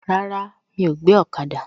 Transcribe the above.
Rárá, mi ò gbé ọ̀kada